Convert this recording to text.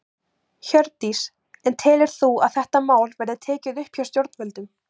Hjördís: En telur þú að þetta mál verði tekið upp hjá stjórnvöldum?